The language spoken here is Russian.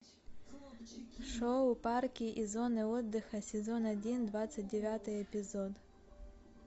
шоу парки и зоны отдыха сезон один двадцать девятый эпизод